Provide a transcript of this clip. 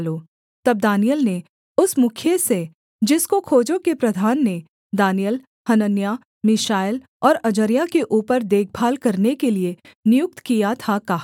तब दानिय्येल ने उस मुखिए से जिसको खोजों के प्रधान ने दानिय्येल हनन्याह मीशाएल और अजर्याह के ऊपर देखभाल करने के लिये नियुक्त किया था कहा